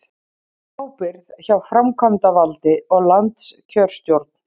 Ábyrgð hjá framkvæmdavaldi og landskjörstjórn